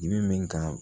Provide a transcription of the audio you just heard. Dimi min ka